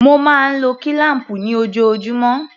Mo máa ń lo kílám̀pù ni ojoojúmọ́.